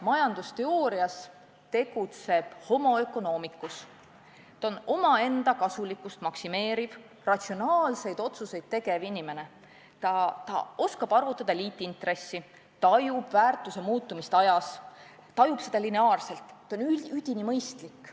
Majandusteoorias tegutseb homo economicus: ta on omaenda kasulikkust maksimeeriv, ratsionaalseid otsuseid tegev inimene, ta oskab arvutada liitintressi, tajub väärtuse muutumist ajas, tajub seda lineaarselt, ta on üdini mõistlik.